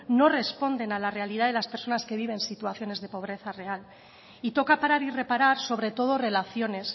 no responder a la realidad de las personas que viven situaciones de pobreza real y toca parar y reparar sobre todo relaciones